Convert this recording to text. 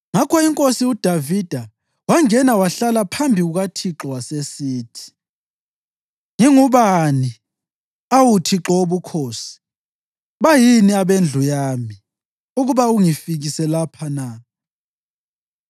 Ngakho inkosi uDavida wangena wahlala phambi kukaThixo wasesithi: “Ngingubani, awu Thixo Wobukhosi, bayini abendlu yami, ukuba ungifikise lapha na?